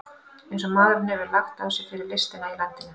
Eins og maðurinn hefur lagt á sig fyrir listina í landinu!